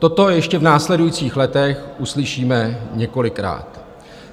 Toto ještě v následujících letech uslyšíme několikrát.